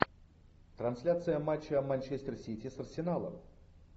трансляция матча манчестер сити с арсеналом